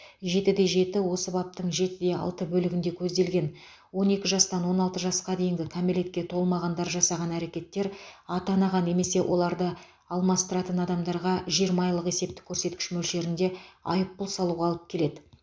жетіде жеті осы баптың жетіде алты бөлігінде көзделген он екі жастан он алты жасқа дейінгі кәмелетке толмағандар жасаған әрекеттер ата анаға немесе оларды алмастыратын адамдарға жиырма айлық есептік көрсеткіш мөлшерінде айыппұл салуға алып келеді